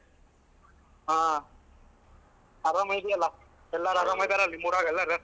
ಹಾ. ಆರಾಮಿದ್ಯಲ್ಲ? ಎಲ್ಲಾರು ಆರಾಮಿದಾರ ನಿಮ್ಮೂರಾಗ್ ಎಲ್ಲಾರು?